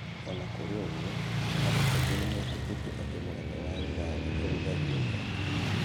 O na kũrĩ ũguo, andũ aingĩ nĩ metĩkĩtie atĩ mũgate wa Ugali ũrugagio mwaki-inĩ.